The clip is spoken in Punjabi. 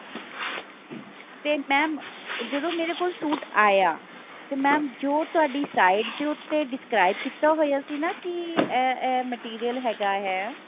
ਤੇ mam ਜਦੋਂ ਮੇਰੇ ਕੋਲ suit ਆਇਆ ਤੇ mam ਜੋ ਤੁਹਾਡੀ sight ਦੇ ਉੱਤੇ describe ਕੀਤਾ ਹੋਇਆ ਸੀ ਨਾ ਕਿ ਇਹ ਇਹ material ਹੈਗਾ ਹੈ